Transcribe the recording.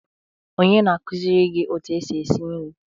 Onye na-akụziri gị otu esi esi nri?